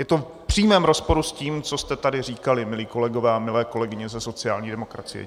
Je to v přímém rozporu s tím, co jste tady říkali, milí kolegové a milé kolegyně ze sociální demokracie.